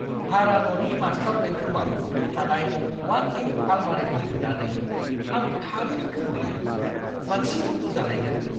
भारा न'नि मास्टार बेडरुमआव थानाय वाक-इन आलमारिखौ नुनानै आं थारैनो गोमोबाय, मानसि उन्दुजालायगोन।